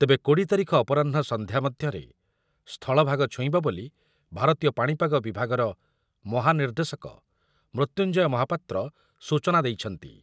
ତେବେ କୋଡିଏ ତାରିଖ ଅପରାହ୍ନ ସନ୍ଧ୍ୟା ମଧ୍ୟରେ ସ୍ଥଳଭାଗ ଛୁଇଁବ ବୋଲି ଭାରତୀୟ ପାଣିପାଗ ବିଭାଗର ମହାନିର୍ଦ୍ଦେଶକ ମୃତ୍ୟୁଞ୍ଜୟ ମହାପାତ୍ର ସୂଚନା ଦେଇଛନ୍ତି ।